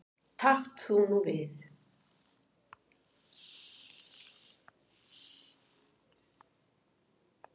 Takt þú við.